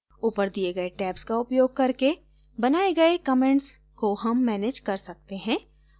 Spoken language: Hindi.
ऊपर दिए गए tabs का उपयोग करके बनाए गए comments को हम manage कर सकते हैं